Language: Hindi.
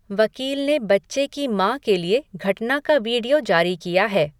वकील ने बच्चे की माँ के लिए घटना का वीडियो जारी किया है।